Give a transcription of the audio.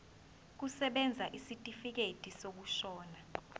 kusebenza isitifikedi sokushona